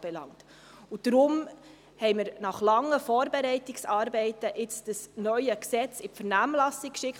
Deshalb haben wir nun nach langen Vorbereitungsarbeiten das neue Gesetz in die Vernehmlassung geschickt.